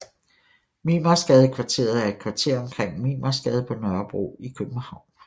Mimersgadekvarteret er et kvarter omkring Mimersgade på Nørrebro i København